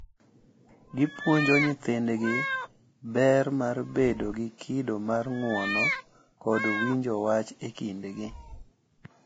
Gipuonjo nyithindgi ber mar bedo gi kido mar ng’uono kod winjo wach e kindgi.